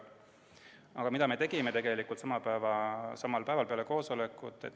Aga mida me tegime tegelikult samal päeval peale koosolekut?